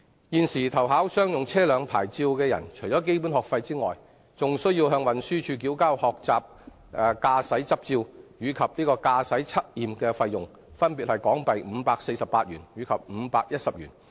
現時，凡投考商用車輛牌照者，除基本學費外，更須向運輸署繳交學習駕駛執照及駕駛測驗費用，分別為港幣548元及510元。